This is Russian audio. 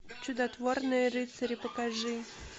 чудотворные рыцари покажи